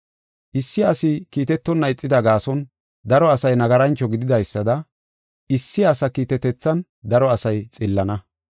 Issi asi kiitetonna ixida gaason, daro asay nagarancho gididaysada issi asa kiitetethan daro asay xillana.